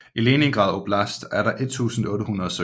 I Leningrad oblast er der 1800 søer